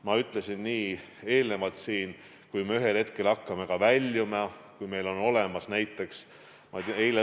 Ma ütlesin siin enne, et kui me ühel hetkel hakkame väljuma, kui meil on olemas näiteks kiirtestid.